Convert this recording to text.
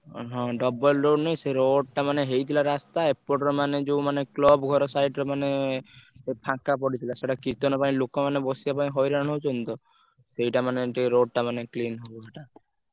ଓହୋ। double road ନୁହଁ ସେ road ଟା ମାନେ ହେଇଥିଲା ରାସ୍ତା ଏପଟର ମାନେ ଯୋଉ ମାନେ club ଘର side ରେ ମାନେ ଫାଙ୍କା ପଡିଥିଲା ସେଇଟା କୀର୍ତ୍ତନ ପାଇଁ ଲୋକ ମାନେ ବସିବା ପାଇଁ ହଇରାଣ ହଉଛନ୍ତି ତ ସେଇଟା ମାନେ road ଟା ମାନେ clean ହବ